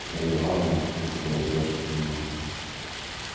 марья ивановна слушала её со вниманием